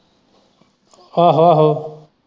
ਆਹੋ ਆਹੋ।